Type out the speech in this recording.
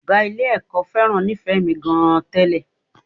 Ọ̀gá Ilé-ẹ̀kọ́ fẹ́ràn Nífẹ̀ẹ́mi gan-an tẹ́lẹ̀